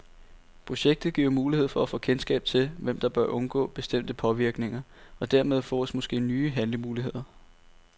Projektet giver mulighed for at få kendskab til, hvem der bør undgå bestemte påvirkninger, og dermed fås måske nye handlemuligheder.